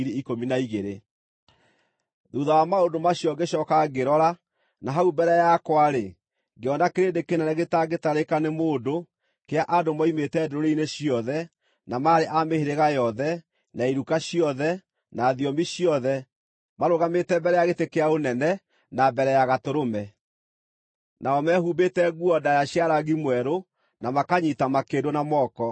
Thuutha wa maũndũ macio ngĩcooka ngĩrora, na hau mbere yakwa-rĩ, ngĩona kĩrĩndĩ kĩnene gĩtangĩtarĩka nĩ mũndũ, kĩa andũ moimĩte ndũrĩrĩ-inĩ ciothe, na maarĩ a mĩhĩrĩga yothe, na iruka ciothe, na thiomi ciothe, marũgamĩte mbere ya gĩtĩ kĩa ũnene, na mbere ya Gatũrũme. Nao meehumbĩte nguo ndaaya cia rangi mwerũ, na makanyiita makĩndũ na moko.